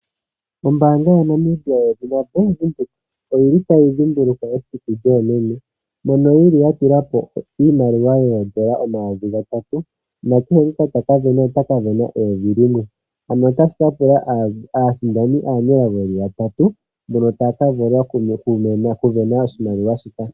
Ombaanga yaNamibia yedhina Bank Windhoek oyili tayi dhimbulukwa esiku lyoomeme mono ya tula po iimaliwa yoN$3000 nakehe ngoka taka sindana otaka sindana N$1000 ano otashi ka pula aasindani aanelago ye li yatatu mboka taya ka vula okusindana oshimaliwa shika.